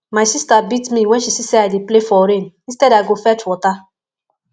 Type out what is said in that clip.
my sister beat me wen she see say i dey play for rain instead i go fetch water